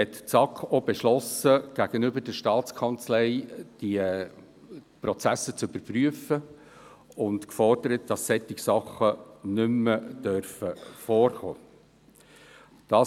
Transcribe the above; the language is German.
Gleichzeitig hat die SAK beschlossen, die Prozesse gegenüber der Staatskanzlei zu überprüfen, und gefordert, dass dergleichen nicht mehr vorkommen darf.